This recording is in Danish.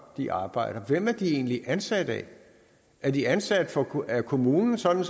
de arbejder hvem er de egentlig ansat af er de ansat af kommunen sådan